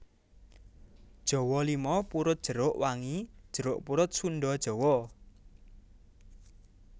Jawa limau purut jeruk wangi jeruk purut Sunda Jawa